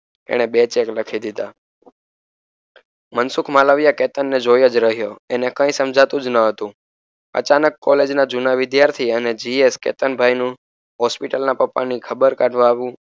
એણે બે ચેક લખી દીધા મનસુખ માલવિયા કેતનને જોઈજ રહ્યો એને કઈ સમજાતુજ ન હતુ અચાનક કોલેજના વિધાર્થી અને જી એસ કેતનભાઈનું હોસ્પિટલના પપ્પા ની ખબર કાઢવા આવવું